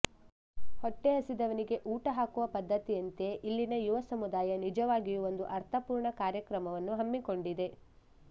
ಹೊಟ್ಟೆ ಹಸಿದವನಿಗೆ ಊಟ ಹಾಕುವ ಪದ್ಧತಿಯಂತೆ ಇಲ್ಲಿನ ಯುವ ಸಮುದಾಯ ನಿಜವಾಗಿಯೂ ಒಂದು ಅರ್ಥಪೂರ್ಣ ಕಾರ್ಯಕ್ರಮವನ್ನು ಹಮ್ಮಿಕೊಂಡಿದೆ